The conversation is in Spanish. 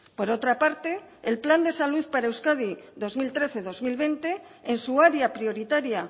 por otra parte el plan de salud para euskadi dos mil trece dos mil veinte en su área prioritaria